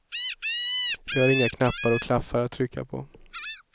Vi har inga knappar och klaffar att trycka på.